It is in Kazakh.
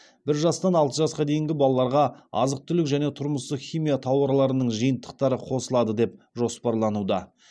бір жастан алты жасқа дейінгі балаларға азық түлік және тұрмыстық химия тауарларының жиынтықтары қосылады деп жоспарлануда